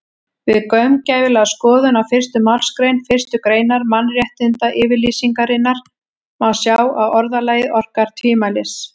Við gaumgæfilega skoðun á fyrstu málsgrein fyrstu greinar Mannréttindayfirlýsingarinnar má sjá að orðalagið orkar tvímælis.